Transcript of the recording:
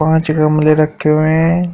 पांच गमले रखे हुए हैं।